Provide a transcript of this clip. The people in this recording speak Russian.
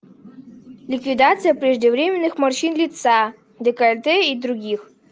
ликвидация преждевременных морщин лица декольте и других